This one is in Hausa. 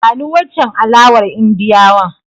Bani wancen alawar Indiyawan.